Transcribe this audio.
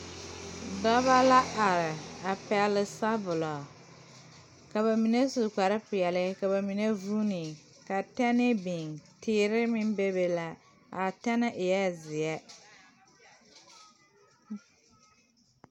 Dɔbɔ la are a pɛgle sabulɔ ka ba mine su kparepeɛle ka ba mine vuune ka tɛne biŋ teere meŋ bebe la a tɛnɛ eɛɛ zeɛ.